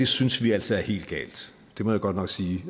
synes vi altså er helt galt det må jeg godt nok sige